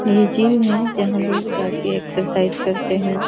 ये जिम है जहाँ लोग जा के एक्सरसाइज करते हैं।